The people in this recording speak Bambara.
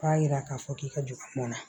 K'a jira k'a fɔ k'i ka don mɔn na